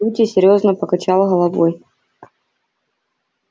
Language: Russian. кьюти серьёзно покачал головой